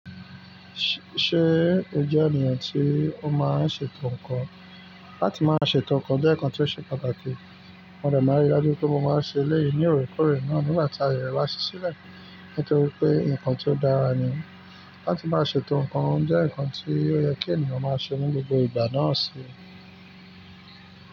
Ṣẹ o jẹ ènìyàn tí o má n ṣètò nkàn? Láti máa ṣètò nkàn jẹ nkàn tí o ṣe pàtàkì. Mọ dẹ ma rí i dájú pé mo ma ṣe eléyi ní òrèkórè náà nígbà tí ayẹ rẹ bá sí sílẹ nítorí pé nkàn tí o dára ni. Láti máa ṣètò nkàn jẹ nkàn tí ó yẹ kí ènìyàn máa ṣe ní gbogbo ìgbà náà ṣe.